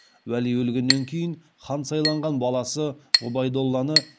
уәли өлгеннен кейін хан сайланған баласы ғұбайдолланы